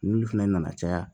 N'olu fɛnɛ nana caya